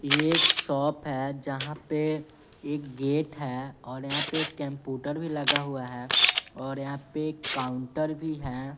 ये एक शॉप है जहाँ पे एक गेट है और यहाँ पे कैंपुटर भी लगा हुआ है और यहाँ पे एक काउंटर भी है।